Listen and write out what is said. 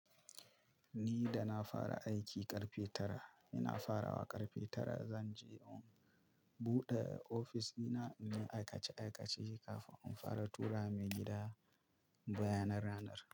Ni da na fara aiki ƙarfe tara, ina farawa ƙarfe tara. Zan je in buɗe ofis dina, in yi aikace-aikace kafin in fara tura maigida bayanan ranar.